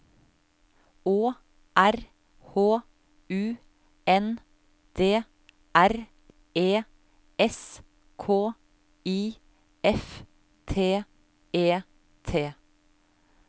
Å R H U N D R E S K I F T E T